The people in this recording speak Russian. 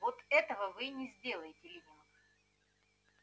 вот этого вы и не сделаете лэннинг